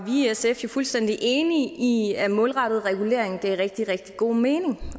i sf jo fuldstændig enige i at målrettet regulering giver rigtig rigtig god mening